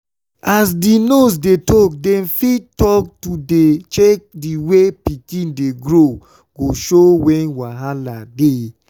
as di nurse dem talk to dey check the way pikin dey grow go show wen wahala dey.